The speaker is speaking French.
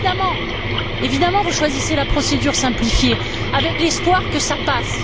Alors, évidemment, vous choisissez la procédure simplifiée, avec l'espoir que cela passe.